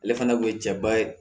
Ale fana kun ye cɛba ye